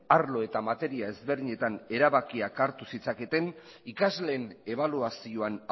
arlo eta materia ezberdinetan erabakiak hartu zitzaketen ikasleen ebaluazioan